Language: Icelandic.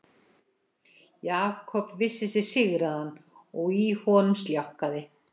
Jakob vissi sig sigraðan og í honum sljákkaði.